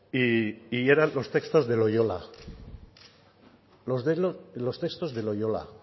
y eran los textos de loiola los textos de loiola